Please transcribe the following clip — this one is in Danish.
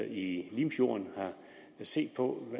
i limfjorden har set på